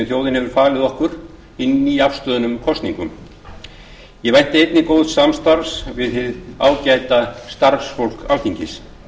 hefur falið okkur í nýafstöðnum kosningum ég vænti einnig góðs samstarfs við hið ágæta starfsfólk alþingis